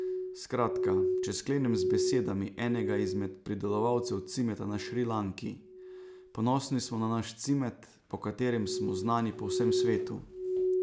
Skratka, če sklenem z besedami enega izmed pridelovalcev cimeta na Šrilanki: 'Ponosni smo na naš cimet, po katerem smo znani po vsem svetu.